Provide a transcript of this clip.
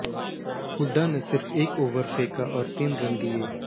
हुडा ने सिर्फ एक ओवर फेंका और तीन रन दिए